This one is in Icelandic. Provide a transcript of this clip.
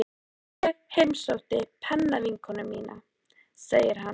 Ég heimsótti pennavinkonu mína, segir hann.